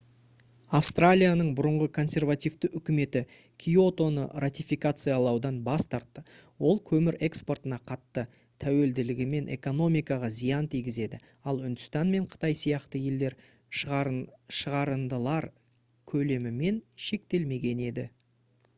австралияның бұрынғы консервативті үкіметі киотоны ратификациялаудан бас тартты ол көмір экспортына қатты тәуелділігімен экономикаға зиян тигізеді ал үндістан мен қытай сияқты елдер шығарындылар көлемімен шектелмеген еді